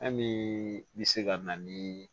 Fɛn min bɛ se ka na ni